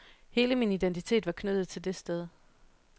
Hele min identitet var knyttet til det sted.